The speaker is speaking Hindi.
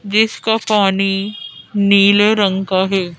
जिसका पानी नीले रंग का है।